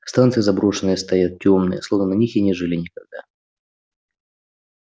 станции заброшенные стоят тёмные словно на них и не жили никогда